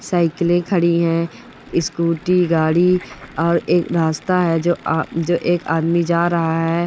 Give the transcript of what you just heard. साइकिलें खड़ी हैं। स्कूटी गाड़ी और एक रास्ता है जो एक आदमी जा रहा है।